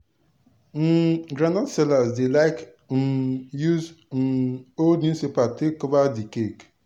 um groundnut seller dey like um use um old newspaper take cover d cake.